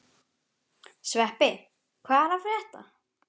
Sveppi, hvað er að frétta?